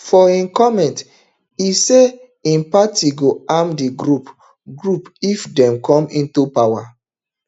for im comment e say im party go arm di group group if dem come into power